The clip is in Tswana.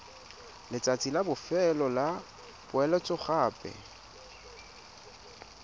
letsatsi la bofelo la poeletsogape